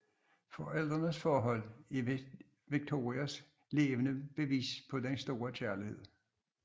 Forældrenes forhold er Victorias levende bevis på den store kærlighed